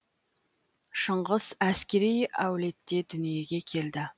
шыңғыс әскери әулетте дүниеге келді